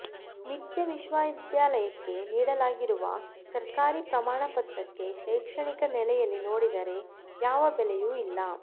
ಮಿಥ್ಯಾ ವಿಶ್ವವಿದ್ಯಾಲಯಕ್ಕೆ ನೀಡಲಾಗಿರುವ ಸರ್ಕಾರಿ ಪ್ರಮಾಣಪತ್ರಕ್ಕೆ ಶೈಕ್ಷಣಿಕ ನೆಲೆಯಲ್ಲಿ ನೋಡಿದರೆ ಯಾವ ಬೆಲೆಯೂ ಇಲ್ಲ